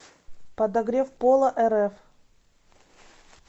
подогревполарф